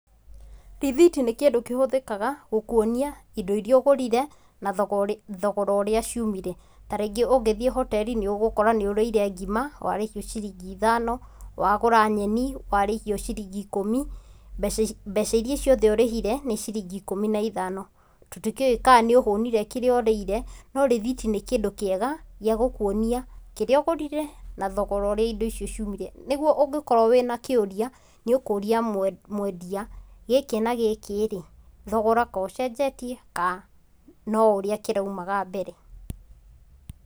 Rĩthiti nĩ kĩndũ kĩhũthĩkaga gũkuonia indo iria ũgũrire, na thogora ũrĩa ciumire. Ta rĩngĩ ũngĩthiĩ hoteri nĩ ũgũkora nĩ ũrĩire ngima, warĩhio ciringi ithano, wagũra nyeni, warĩhio ciringi ikũmi, mbeca iria ciothe ũrĩhire, nĩ ciringi ikũmi na ithano. Tũtĩkĩũĩ kana nĩ ũhũũnire kĩrĩa ũrĩire, no rĩthiti nĩ kĩndũ kĩega gĩa gũkuonia kĩrĩa ũgũrire na thogora ũrĩa indo icio ciumire. Nĩguo ũngĩkorũo wĩ na kĩũria, nĩ ũkũũria mwendia; gĩkĩ na gĩkĩ rĩ, thogora ko ũcenjetie ka no ũrĩa kĩraumaga mbere?